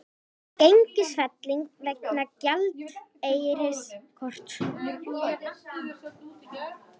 Gengisfelling vegna gjaldeyrisskorts